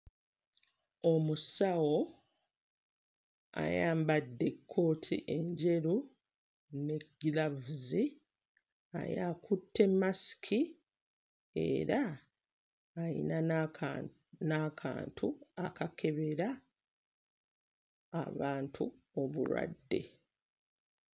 Omusawo ayambadde ekkooti enjeru ne giraavuzi naye akutte masiki era ayina n'akantu n'akantu akakebera abantu obulwadde.